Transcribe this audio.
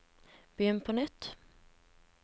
begynn på nytt